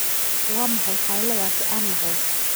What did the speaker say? Waa maxay qayladaas aan maqlo?